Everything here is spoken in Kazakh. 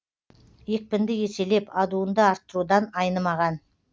екпінді еселеп адуынды арттырудан айнымаған